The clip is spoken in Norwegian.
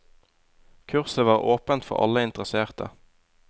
Kurset var åpent for alle interesserte.